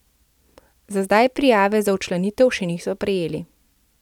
Za zdaj prijave za včlanitev še niso prejeli.